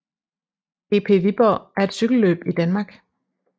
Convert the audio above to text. GP Viborg er et cykelløb i Danmark